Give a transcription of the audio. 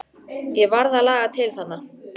Ég varð að laga til þarna.